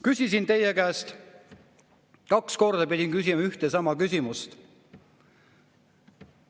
Küsisin teie käest, kaks korda pidin küsima ühte ja sama küsimust.